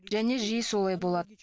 және жиі солай болады